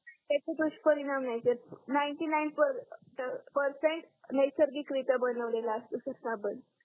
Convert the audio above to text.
त्याचे दुष्परिणाम नाही सर नाइंटी नाइन परसेंट नैसर्गिकरित्या बनवलेला असतो तो सर साबण